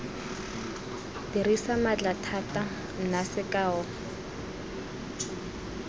dirisa maatla thata nna sekao